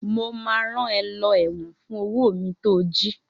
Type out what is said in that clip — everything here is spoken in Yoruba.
Mo máa rán ẹ lọ ẹ̀wọ̀n fún owó mi to jí!